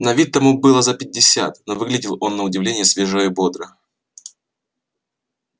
на вид тому было за пятьдесят но выглядел он на удивление свежо и бодро